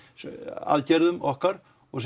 aðgerðum okkar og